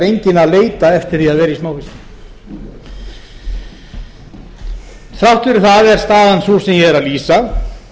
enginn að leita eftir því að vera í smáfiski þrátt fyrir það er staðan sú sem ég er að lýsa